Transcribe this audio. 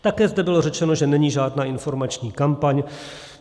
Také zde bylo řečeno, že není žádná informační kampaň.